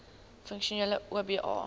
funksionele oba